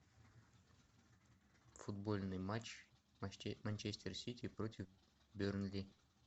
футбольный матч манчестер сити против бернли